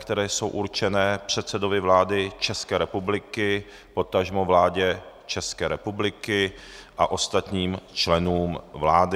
které jsou určeny předsedovi vlády České republiky, potažmo vládě České republiky a ostatním členům vlády.